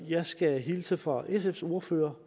jeg skal hilse fra sfs ordfører